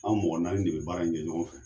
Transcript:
An mɔgɔ naani de be baara in kɛ ɲɔgɔnfɛ